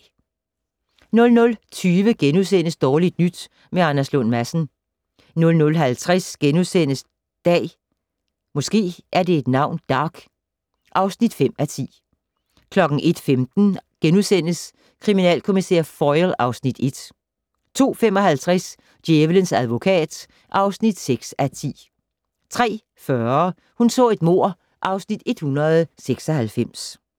00:20: Dårligt nyt med Anders Lund Madsen * 00:50: Dag (5:10)* 01:15: Kriminalkommissær Foyle (Afs. 1)* 02:55: Djævelens advokat (6:10) 03:40: Hun så et mord (Afs. 196)